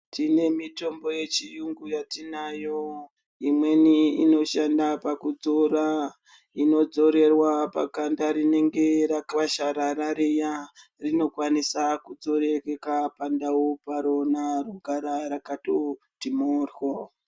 Tine mitombo yechiyungu yetinayo imweni inoshande pakudzora inodzorewa paganda rinenge rakasharara riya inokwanisa kudzorereka pandau parona rogara rakatiwo kuti moryo.